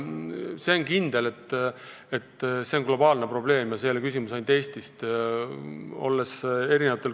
See on kindel, et see on globaalne probleem – see ei ole ainult Eestis küsimus.